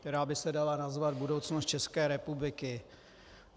Která by se dala nazvat budoucnost České republiky.